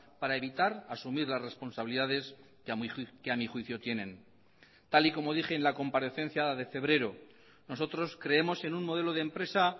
para evitar asumir las responsabilidades que a mi juicio tienen tal y como dije en la comparecencia de febrero nosotros creemos en un modelo de empresa